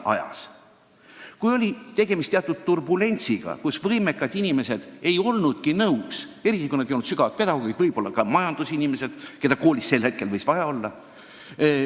Tegemist võis olla teatud turbulentsiga: võimekad inimesed ei olnud nõus koole juhtima, eriti kui nad ei olnud hingelt pedagoogid ja võib-olla ka mitte majandusinimesed, keda koolis sel hetkel võis vaja olla.